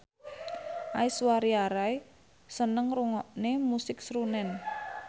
Aishwarya Rai seneng ngrungokne musik srunen